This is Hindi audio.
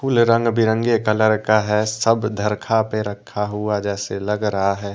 ये रंग बिरंगे कलर का है सब धरखा पे रखा हुआ जैसे लग रहा है।